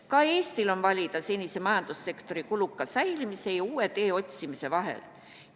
Ka Eestil on valida senise majandussektori kuluka säilimise ja uue tee otsimise vahel.